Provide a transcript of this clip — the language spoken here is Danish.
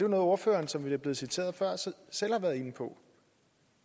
ordføreren som det blev citeret før selv har været inde på